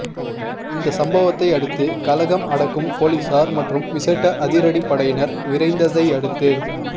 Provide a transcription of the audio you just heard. இந்த சம்பவத்தை அடுத்து கலகம் அடக்கும் பொலிசார் மற்றும் விசேட அதிரடிப்படையினர் விரைந்ததையடுத்து